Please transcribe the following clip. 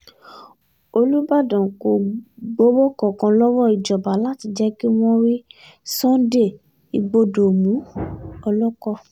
olùbàdàn kò gbowó kankan lọ́wọ́ ìjọba láti jẹ́ kí wọ́n rí sunday igbodò mú o-oloko